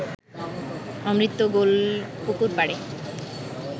অমৃত গোলপুকুরপাড়ে